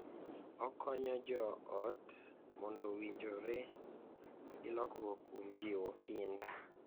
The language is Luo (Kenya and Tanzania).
Okonyo joot mondo owinjore gi lokruok kuom jiwo kinda